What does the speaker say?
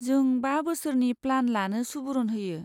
जों बा बोसोरनि प्लान लानो सुबुरुन होयो।